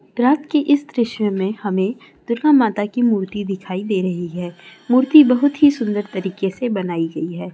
रात के इस दृश्य में हमें दुर्गा माता की मूर्ति दिखाई दे रही है मूर्ति बहुत ही सुंदर तरीके से बनाई गई है।